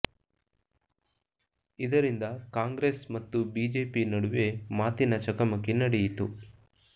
ಇದರಿಂದ ಕಾಂಗ್ರೆಸ್ ಮತ್ತು ಬಿಜೆಪಿ ನಡುವೆ ಮಾತಿನ ಚಕಮಕಿ ನಡೆಯಿತು